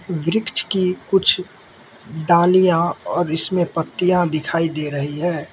वृक्ष की कुछ डालिया और इसमें पत्तियां दिखाई दे रही हैं।